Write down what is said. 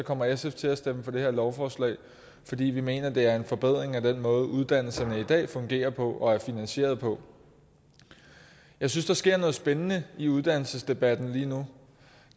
kommer sf til at stemme for det her lovforslag fordi vi mener at det er en forbedring af den måde uddannelserne i dag fungerer på og er finansieret på jeg synes der sker noget spændende i uddannelsesdebatten lige nu